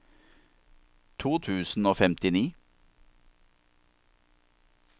to tusen og femtini